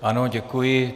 Ano, děkuji.